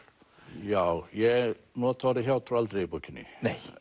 já ég nota orðið hjátrú aldrei í bókinni